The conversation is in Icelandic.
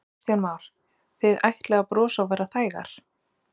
Kristján Már: Þið ætlið að brosa og vera þægar?